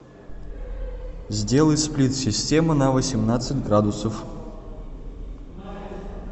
сделай сплит система на восемнадцать градусов